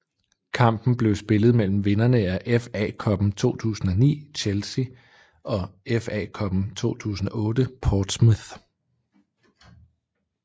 Kampen blev spillet mellem vinderne af FA Cuppen 2009 Chelsea og FA Cuppen 2008 Portsmouth